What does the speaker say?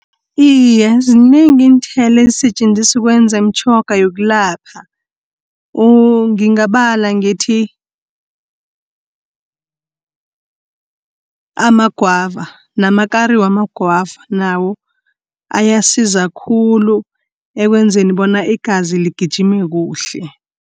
Iye ziningi iinthelo esetjenziswa ukwenza iimtjhoga yokulapha, ngingabala ngithi amagwava, namakari wamagwava nawo ayasizakhulu ekwenzeni bona igazi ligijime kuhle.